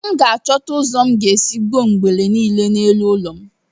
M ga-achọta ụzọ m ga-esi gbuo ngwere niile dị n'elu ụlọ m